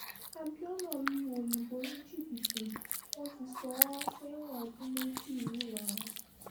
abiona lu òyìnbó ní jìbìtì wọ́n ti sọ ọ́ sẹ́wọ̀n ọdún méjì ńìlọrin